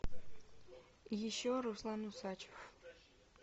еще руслан усачев